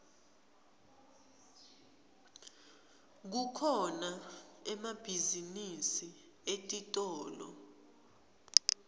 kukhona emabhizinisi etitolo